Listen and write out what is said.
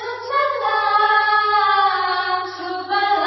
सुजलां सुफलां मलयजशीतलाम्